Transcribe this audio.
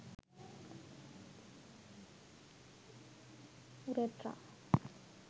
urethra